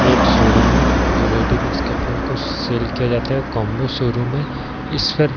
ये एक शोरूम है। जो रेडीमेड कपड़ो को सेल किया जाता है। कॉम्बो शोरूम है। इस पर --